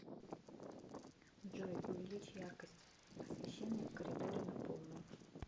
джой увеличь яркость освещения в коридоре на полную